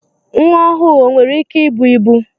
Nwa ọhụụ o nwere ike ịbụ ịbụ?